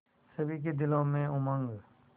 सभी के दिलों में उमंग